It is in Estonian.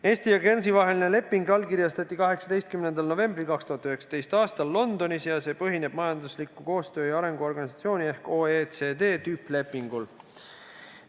Eesti ja Guernsey vaheline leping allkirjastati 18. novembril 2019. aastal Londonis ja see põhineb Majanduskoostöö ja Arengu Organisatsiooni ehk OECD tüüplepingul.